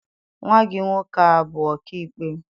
Nwa gị nwoke abụ ọkaikpe?